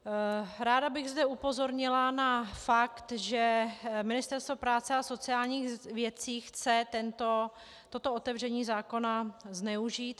Ráda bych zde upozornila na fakt, že Ministerstvo práce a sociálních věcí chce toto otevření zákona zneužít.